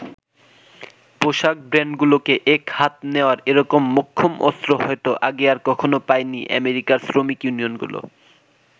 পোশাক ব্রান্ডগুলোকে এক হাত নেওয়ার এরকম মোক্ষম অস্ত্র হয়ত আগে আর কখনো পায়নি আমেরিকার শ্রমিক ইউনিয়নগুলো।